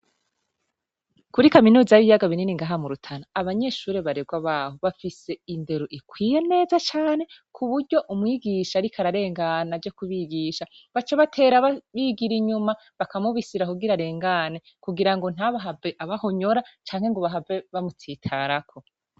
Kuri kaminuza yibiyaga binini ngaha mu Rutana abanyeshure barerwa baho bafise indero ikwiye neza cane kuburyo umwigisha ariko ararengana aje kubigisha baca batera bigira inyuma bakamubisira kugira arengane kugirango ntahave abahonyora canke ngo bahave bamutsitarako.